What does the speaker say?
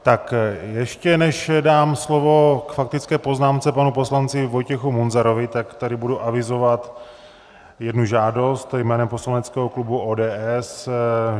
Tak ještě než dám slovo k faktické poznámce panu poslanci Vojtěchu Munzarovi, tak tady budu avizovat jednu žádost jménem poslaneckého klubu ODS.